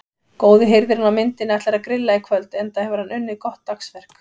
Góði hirðirinn á myndinni ætlar að grilla í kvöld enda hefur hann unnið gott dagsverk.